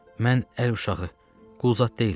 Mən əl uşağı, qul zad deyiləm.